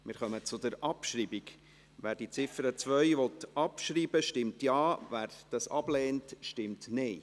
Wer die Ziffer 2 der Motion abschreibt, stimmt Ja, wer dies ablehnt, stimmt Nein.